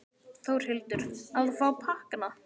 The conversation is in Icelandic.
Þórhildur: Að fá pakkana?